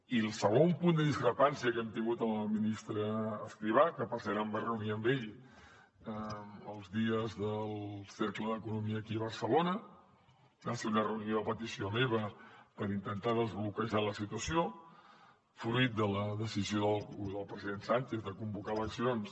i el segon punt de discrepància que hem tingut amb el ministre escrivá que per cert em vaig reunir amb ell els dies del cercle d’economia aquí a barcelona va ser una reunió a petició meva per intentar desbloquejar la situació fruit de la decisió del president sánchez de convocar eleccions